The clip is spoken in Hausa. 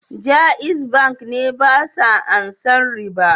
Jaiz Bank ne basa ansan riba.